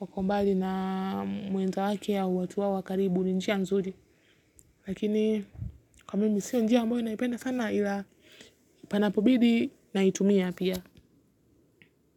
wako mbali na mwenzake au watu wao wa karibu ni njia nzuri lakini kwa mimi sio njia ambayo naipenda sana ila panapobidi naitumia pia.